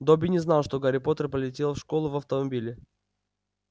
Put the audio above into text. добби не знал что гарри поттер полетел в школу в автомобиле